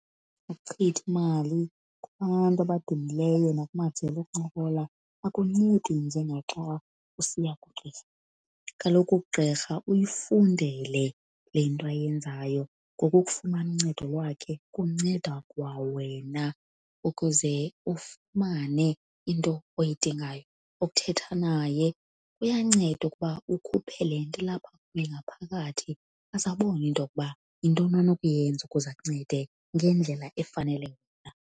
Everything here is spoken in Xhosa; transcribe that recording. Ukuchitha imali kubantu abadumileyo nakumajelo okuncokola akuncedi njengaxa usiya kugqirha. Kaloku ugqirha uyifundele le nto ayenzayo, ngoko ukufumana uncedo lwakhe kunceda kwawena ukuze ufumane into oyidingayo. Ukuthetha naye kuyanceda ukuba ukhuphe le nto ilapha ngaphakathi aze abone into yokuba yintoni onokuyenza ukuze akuncede ngendlela efanele wena.